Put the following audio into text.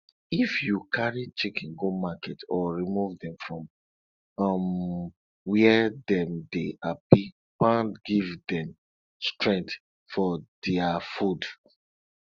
if you carry chicken go market or remove dem from um where dem dey happy pound give dem strength for their food